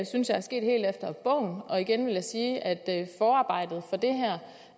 synes jeg er sket helt efter bogen og igen vil jeg sige at